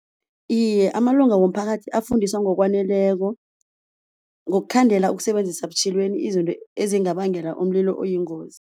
Iye amalunga womphakathi afundiswa ngokwaneleko ngokukhandela ukusebenzisa butjhilweni izinto ezingabangela umlilo oyingozi.